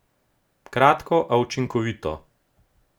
Kratko, a učinkovito.